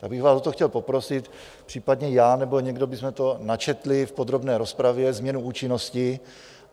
Já bych vás o to chtěl poprosit, případně já nebo někdo bychom to načetli v podrobné rozpravě změnu účinnosti.